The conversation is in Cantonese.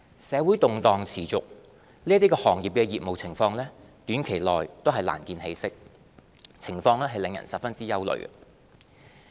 社會動盪持續，這些行業的業務情況短期內難見起色，情況令人十分憂慮。